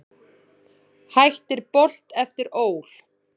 Hættir Bolt eftir ÓL